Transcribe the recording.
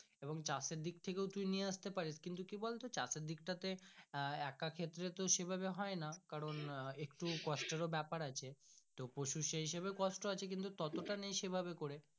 এবং চাষ এর দিক থেকেও তুই নিয়ে আস্তে পারিস কিন্তু কি বলতো চাষ দিকটাতে আহ একা ক্ষেত্রে তো সেই ভাবে হয় না কারণ একটু কষ্টের ও ব্যাপার আছে তো পশু সেই হিসাবে কষ্ট আছে কিন্তু তাতো টা নেই সেভাবে করে।